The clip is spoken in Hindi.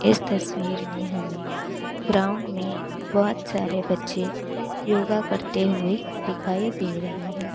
इस तस्वीर में हमें ग्राउंड में बहोत सारे बच्चे योगा करते हुए दिखाई दे रहे हैं।